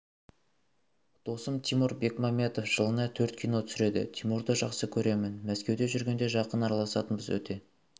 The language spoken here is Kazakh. досым тимур бекмамбетов жылына төрт кино түсіреді тимурды жақсы көремін мәскеуде жүргенде жақын араласатынбыз өте